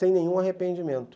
Tenho um arrependimento.